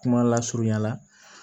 Kuma lasurunyala